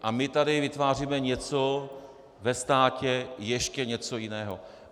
A my tady vytváříme něco ve státě, ještě něco jiného.